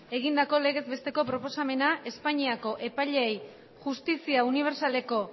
egindako legez beteko proposamena espainiako epaileei justizia unibertsaleko